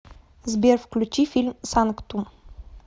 сбер включи фильм санктум